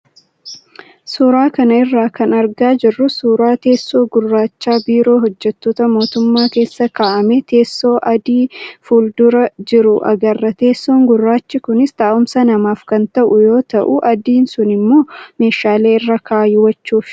Suuraa kana irraa kan argaa jirru suuraa teessoo gurraacha biiroo hojjattoota mootummaa keessa kaa'amee teessoo adii fuuldura jiru agarra. Teessoon gurraachi kunis taa'umsa namaaf kan ta'u yoo ta'u, adiin sunimmoo meeshaalee irra kaawwachuufi.